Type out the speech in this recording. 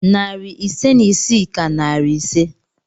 Narị ise na isii ka narị ise.